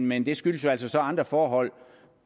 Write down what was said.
men det skyldes jo så så andre forhold